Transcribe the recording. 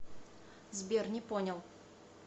сбер не понял